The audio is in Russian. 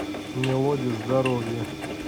мелодия здоровья